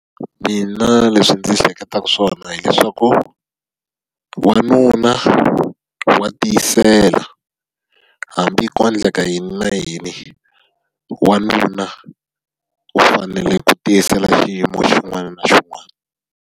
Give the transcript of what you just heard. Mina leswi ndzi hleketaka swona hileswaku, wanuna wa tiyisela. Hambi ko endleka yini na yini, wanuna u fanele ku tiyisela xiyimo xin'wana na xin'wana.